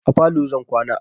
A falo zan kwana.